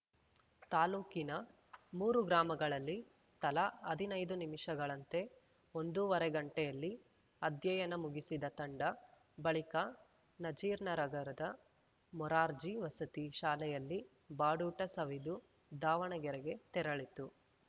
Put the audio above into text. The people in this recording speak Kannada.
ತಾಲೂಕಿನ ಮೂರು ಗ್ರಾಮಗಳಲ್ಲಿ ತಲಾ ಹದಿನೈದು ನಿಮಿಷಗಳಂತೆ ಒಂದೂವರೆ ಗಂಟೆಯಲ್ಲಿ ಅಧ್ಯಯನ ಮುಗಿಸಿದ ತಂಡ ಬಳಿಕ ನಜೀರ್‌ನರಗದ ಮೊರಾರ್ಜಿ ವಸತಿ ಶಾಲೆಯಲ್ಲಿ ಬಾಡೂಟ ಸವಿದು ದಾವಣಗೆರೆಗೆ ತೆರಳಿತು